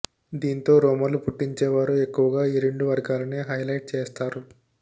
దీంతో రూమర్లు పుట్టించే వారు ఎక్కువగా ఈ రెండు వర్గాలనే హైలైట్ చేస్తారు